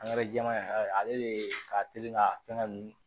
jɛman in ale de ye ka teli ka fɛngɛ nun